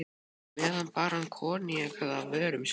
meðan bar hann koníakið að vörum sér.